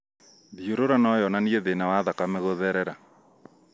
Thiũrũra noyonanie thĩna wa thakame gũtherera